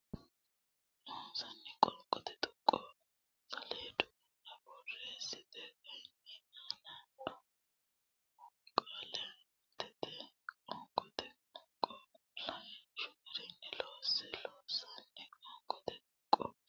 Loossinanni Qoonqote tuqqo saleedu aana borreessite kayinni aane noore umo qaale aantete qoonqote tuqqo lawishshu garinni loosse Loossinanni Qoonqote tuqqo.